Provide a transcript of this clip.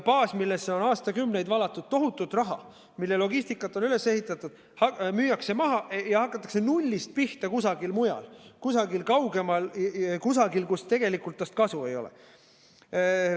Baas, millesse on aastakümneid valatud tohutult raha, mille logistika on üles ehitatud, müüakse maha ja hakatakse nullist pihta kusagil mujal, kusagil kaugemal, kusagil, kus tegelikult temast kasu ei ole.